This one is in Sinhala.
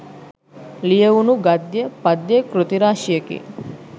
ලියැවුණු ගද්‍ය, පද්‍ය කෘති රාශියකි.